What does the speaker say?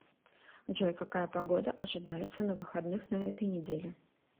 джой какая погода ожидается на выходных на этой неделе